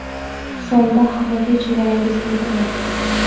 So‘mda haqiqiy chegarasiz internet?